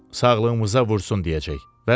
sağlığımıza vursun deyəcək, vəssalam.